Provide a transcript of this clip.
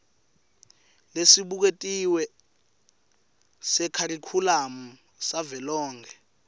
lesibuketiwe sekharikhulamu savelonkhe